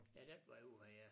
Ja den vej ud her ja